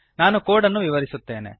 ನಾನು ಕೋಡ್ ಅನ್ನು ವಿವರಿಸುತ್ತೇನೆ